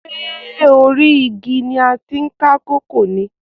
Ṣé orí igi ni a ti ń ká kókò ni?